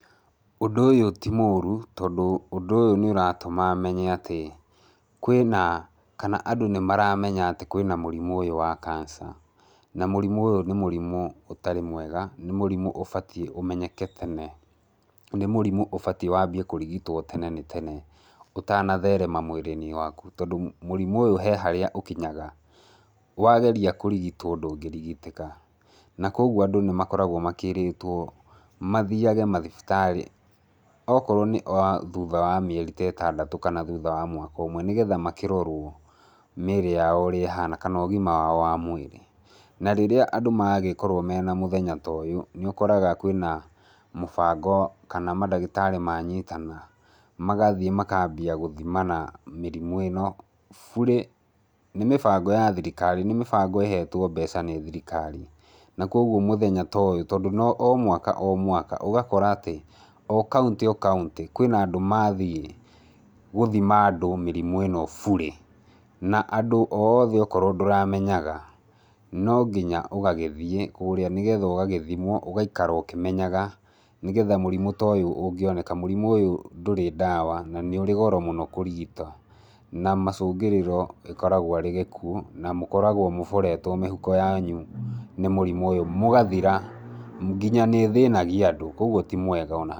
Ũndũ ũyũ ti mũru tondũ ũndũ ũyũ nĩũratũma menye atĩ, kwĩna, kana andũ nĩmaramenya atĩ kwĩna mũrimũ ũyũ wa cancer ,na mũrimũ ũyũ nĩ mũrimũ ũtarĩ mwega, nĩ mũrimũ ũbatiĩ ũmenyeke tene, nĩ mũrimũ ũbatiĩ wambie kũrigitwo tene nĩ tene, ũtanatherema mwĩrĩ-inĩ waku tondũ mũrimũ ũyũ he harĩa ũkinyaga, wageria kũrigitwo ndũngĩrigitĩka. Na koguo andũ nĩmakoragwo makĩrĩtwo mathiage mathibitarĩ, okorwo nĩ thuutha wa mĩeri ta ĩtandatũ kana thutha wa mwaka ũmwe nĩgetha makĩrorwo mĩĩrĩ yao ũrĩa ĩhana kana ũgima wao wa mwĩrĩ. Na rĩrĩa andũ magĩkorwo mena mũthenya ta ũyũ, nĩũkoraga kwĩna mũbango kana madagĩtarĩ manyitana, magathiĩ makambia gũthimana mĩrimũ ĩno burĩ. Nĩ mĩbango ya thirikari, nĩ mĩbango ĩhetwo mbeca nĩ thirikari na koguo mũthenya ta ũyũ tondũ no mwaka o mwaka, ũgakora atĩ, o county o county, kwĩna andũ mathiĩ gũthima andũ mĩrimũ ĩno burĩ. Na andũ oothe okorwo ndũramenyaga, no nginya ũgagĩthiĩ kũrĩa nĩgetha ũgagĩthimwo ũgaikara ũkĩmenyaga, nĩgetha mũrimũ ta ũyũ ũngioneka, mũrimu ũyũ ndũrĩ ndawa na nĩũrĩ goro mũno kũrigita, na macũngĩrĩro ĩkoragwo arĩ gĩkuũ na mũkoragwo mũboretwo mĩhuko yanyu nĩ mũrimũ ũyũ mũgathira, nginya nĩũthĩnagia andũ, koguo ti mwega ona.